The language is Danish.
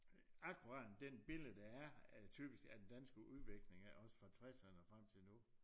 Akkurat den billede der er af typisk af den danske udvikling også fra tresserne og frem til nu